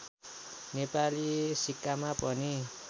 नेपाली सिक्कामा पनि